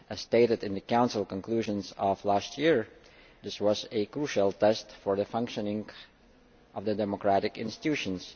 As stated in the Council conclusions of last year, this was a crucial test for the functioning of the democratic institutions.